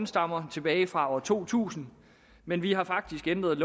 stammer tilbage fra år to tusind men vi har faktisk ændret